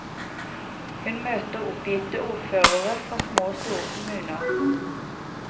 Hun møter oppgitte ordførere fra små og store kommuner.